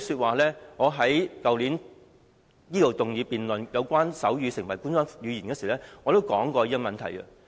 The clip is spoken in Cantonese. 去年，我在立法會動議爭取手語成為官方語言的議案時，已經談論這個問題。